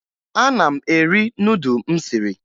Ana m eri nudụ m siri